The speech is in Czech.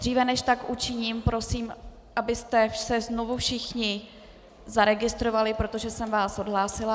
Dříve než tak učiním, prosím, abyste se znovu všichni zaregistrovali, protože jsem vás odhlásila.